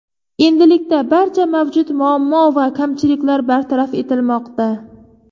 Endilikda barcha mavjud muammo va kamchiliklar bartaraf etilmoqda.